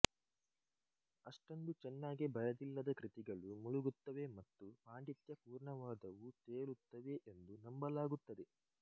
ಅಷ್ಟೊಂದು ಚೆನ್ನಾಗಿ ಬರೆದಿಲ್ಲದ ಕೃತಿಗಳು ಮುಳುಗುತ್ತವೆ ಮತ್ತು ಪಾಂಡಿತ್ಯಪೂರ್ಣವಾದವು ತೇಲುತ್ತವೆ ಎಂದು ನಂಬಲಾಗುತ್ತದೆ